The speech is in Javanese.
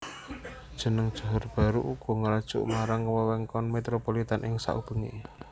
Jeneng Johor Bahru uga ngarujuk marang wewengkon metropolitan ing saubengé